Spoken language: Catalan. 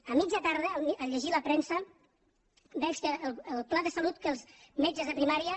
a mitjà tarda al llegir la premsa veig que el pla de salut que els metges de primària